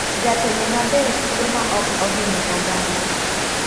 Jatelo maber tiyo ma ok ohinyo oganda.